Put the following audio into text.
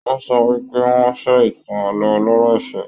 Wọn sọ wípé wọn fẹ ìtàn ààlọ́ ọlọ̀rọ̀ ìfẹ.